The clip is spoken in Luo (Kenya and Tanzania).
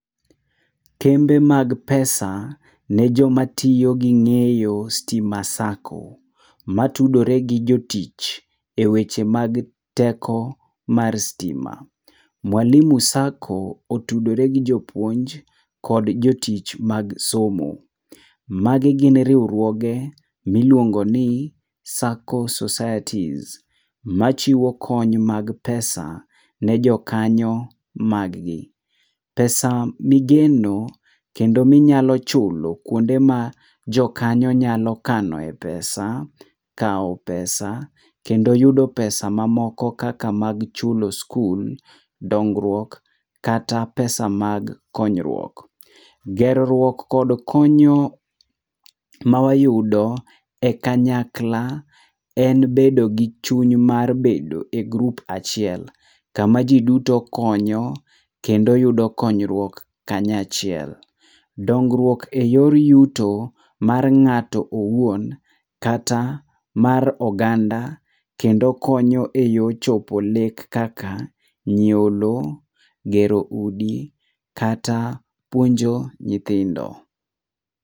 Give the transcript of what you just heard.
Kembe mag pesa ne joma tiyo ging'eyo stima sacco, matudore gi jotich eweche mag teko mar stima. Mwalimu Sacco otudore gi jopuonj kod jotich mag somo. Magi gin riwruoge miluongo ni Sacco Societies, machiwo kony mag pesa ne jokanyo mag gi. Pesa migeno kendo minyalo chulo kuonde ma jokanyo nyalo kanoe pesa, kao pesa kendo yudo pesa mamoko kaka mag chulo skul, dongruok kata pesa mag konyruok. Ger ruok kod konyo mawayudo e kanyakla en bedo gi chuny mar bedo e grup achiel kama ji duto konyo kendo yudo konyruok kanyachiel. Dongruok e yor yuto mar ng'ato owuon kata mar oganda kendo konyo eyor chopo lek kaka nyiewo lo, gero udi kata puonjo nyithindo.